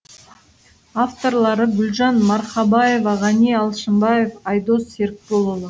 авторлары гүлжан марқабаева ғани алшымбаев айдос серікболұлы